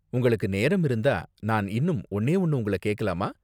உங்களுக்கு நேரம் இருந்தா, நான் இன்னும் ஒன்னே ஒன்னு உங்கள கேக்கலாமா?